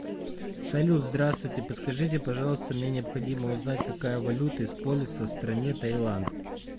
салют здравствуйте подскажите пожалуйста мне необходимо узнать какая валюта используется в стране тайланд